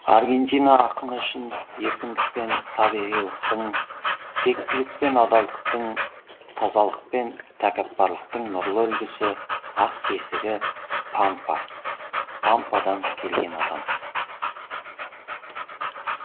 аргентина ақыны үшін еркіндік пен табиғилықтың тектілік пен адалдықтың тазалық пен тәкаппарлықтың нұрлы үлгісі ақ бесігі пампа пампадан келген адам